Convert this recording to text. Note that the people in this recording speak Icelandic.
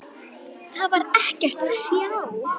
Þar var ekkert að sjá.